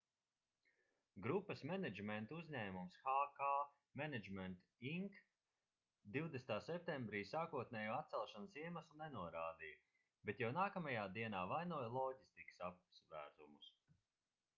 grupas menedžmenta uzņēmums hk management inc 20. septembrī sākotnējo atcelšanas iemeslu nenorādīja bet jau nākamajā dienā vainoja loģistikas apsvērumus